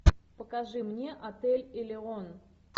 покажи мне отель элеон